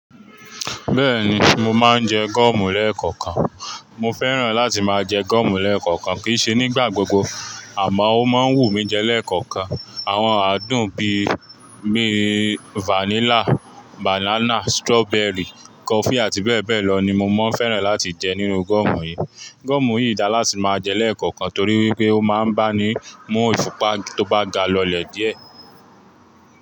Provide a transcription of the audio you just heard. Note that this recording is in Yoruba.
Bẹ́ẹ̀ni, mo máa ń jẹ gọ́ọ̀mù lẹ́ẹ̀kọ̀ọ̀kan. Mo fẹ́ràn láti máa jẹ gúọ̀mù lẹ́ẹ̀kọ̀kan. Kì í ṣe nígbà gbogbo, àmọ́ ó máa ń wù mí i jẹ lẹ́ẹ̀kọ̀kan. Àwọn àádùn bí i vanilla, banana, strawberry, coffee àti bẹ́ẹ̀ bẹ́ẹ̀ lọ ni mo máa ń fẹ́ràn láti jẹ nínú gúọ̀mù yìí. Gúọ̀mù yìí dára láti máa jẹ lẹ́ẹ̀kọ̀kan torí pé ó máa ń bá ni mú ìfúnpa tó bá ga lọlẹ̀ díẹ̀.